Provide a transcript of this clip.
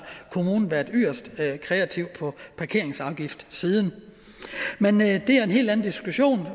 været yderst kreativ på parkeringsafgiftssiden men det er en helt anden diskussion i